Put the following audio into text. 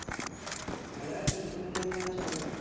ভালো আছি তুমি কেমন আছো অর্ণব?